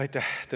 Aitäh!